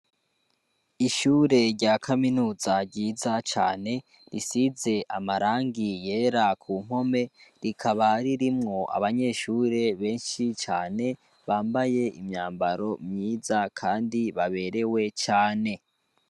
Ishure rya kaminuza ryiza cane risize amarangi yera ku npome rikaba ririmwo abanyeshure benshi cane bambaye imyambaro myiza, kandi baberewe cane.